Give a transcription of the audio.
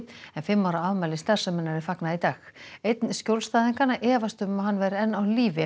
en fimm ára afmæli starfseminnar er fagnað í dag einn skjólstæðinganna efast um að hann væri enn á lífi ef